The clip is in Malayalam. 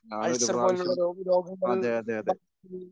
അൾസർ പോലുള്ള രോഗ രോഗങ്ങൾ